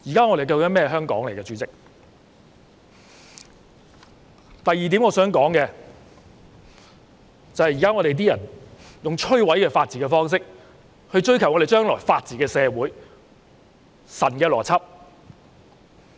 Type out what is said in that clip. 我想說的第二點是，現在有些人以摧毀法治的方式來追求未來的法治社會，這是神的邏輯。